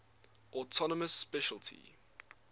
autonomous specialty